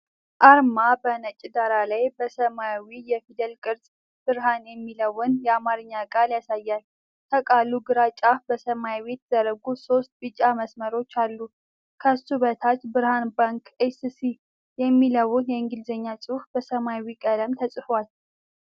አርማ በነጭ ዳራ ላይ በሰማያዊ የፊደል ቅርጽ "ብርሃን" የሚለውን የአማርኛ ቃል ያሳያል። ከቃሉ ግራ ጫፍ በሰያፍ የተዘረጉ ሶስት ቢጫ መስመሮች አሉ። ከሱ በታች "Berhan Bank S.C." የሚለው የእንግሊዝኛ ጽሑፍ በሰማያዊ ቀለም ተጽፏል።